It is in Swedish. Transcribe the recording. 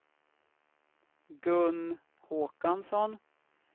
Gun Håkansson